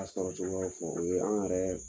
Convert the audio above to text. A sɔrɔ cogoyaw fɔ o ye an yɛrɛ